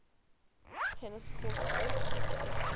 tennis court oath